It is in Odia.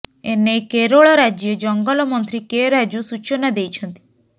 ଏନେଇ କେରଳ ରାଜ୍ୟ ଜଙ୍ଗଲ ମନ୍ତ୍ରୀ କେ ରାଜୁ ସୂଚନା ଦେଇଛନ୍ତି